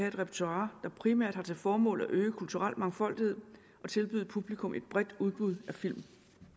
et repertoire der primært har til formål at øge kulturel mangfoldighed og tilbyde publikum et bredt udbud af film